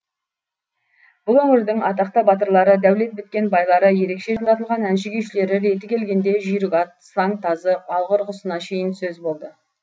бұл өңірдің атақты батырлары дәулет біткен байлары ерекше жаратылған әнші күйшілері реті келгенде жүйрік ат сылаң тазы алғыр құсына шейін сөз болды